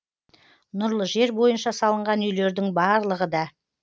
нұрлы жер бойынша салынған үйлердің барлығы да